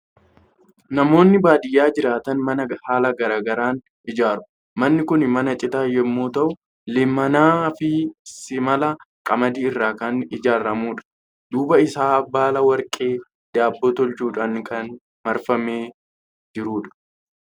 Namoonni baadiyaa jiraatan mana haala garaa garaan ijaaru. Manni kun mana citaa yommuu ta'u, leemmanaa fi simala qamadii irraa kan ijaaramudha. Duuba isaa baala warqee daabboo tolchuudhaan kan marfamee jirudha.